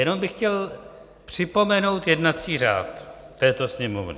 Jenom bych chtěl připomenout jednací řád této Sněmovny.